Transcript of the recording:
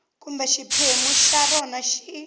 kumbe xiphemu xa rona xi